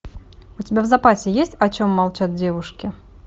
у тебя в запасе есть о чем молчат девушки